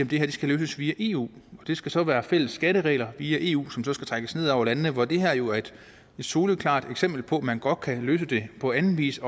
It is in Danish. det her skal løses via eu det skal så være fælles skatteregler via eu som skal trækkes ned over landene hvor det her jo er et soleklart eksempel på at man også godt kan løse det på anden vis